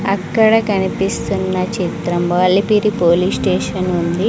అక్కడ కనిపిస్తున్న చిత్రం అలిపిరి పోలీస్ స్టేషన్ ఉంది.